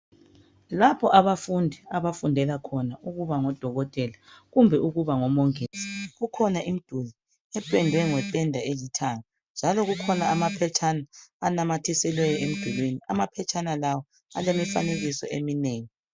lapho abafundi abafundela khona ukuba ngo dokotela kumbe ukuba ngo mongikazi kukhona imduli ependwe ngependa elithanga njalomkukhona amaphetshana anamathiselwe emdulini amaphatshana lawa alemifanekiso eminengi